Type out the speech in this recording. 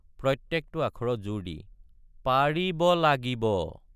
প্ৰত্যেকটো আখৰত জোৰ দি পা—ৰি—ব—লা—গি—ব।